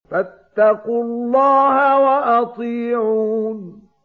فَاتَّقُوا اللَّهَ وَأَطِيعُونِ